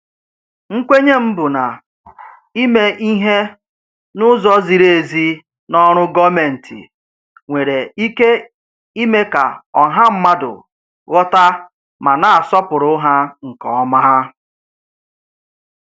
Nkwenye m bụ na ime ìhè n'ụzọ ziri ezi n'ọrụ gọọmentị nwere ike ime ka ọha mmadụ ghọta ma na-asọpụrụ ha nke ọma.